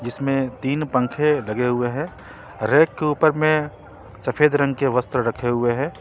इसमें तीन पंखे लगे हुए हैं रैक के ऊपर में सफेद रंग के वस्त्र रखे हुए हैं।